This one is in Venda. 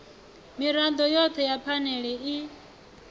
mirado yothe ya phanele i